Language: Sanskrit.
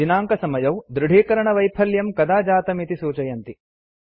दिनाङ्कसमयौ दृढीकरणवैफल्यं कदा जातम् इति सूचयति